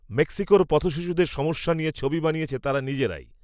মেক্সিকোর পথশিশুদের সমস্যা নিয়ে, ছবি বানিয়েছে তারা নিজেরাই